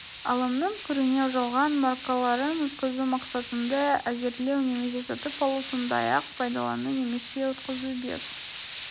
алымның көрінеу жалған маркаларын өткізу мақсатында әзірлеу немесе сатып алу сондай-ақ пайдалану немесе өткізу бес